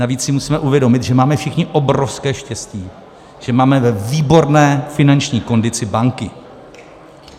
Navíc si musíme uvědomit, že máme všichni obrovské štěstí, že máme ve výborné finanční kondici banky.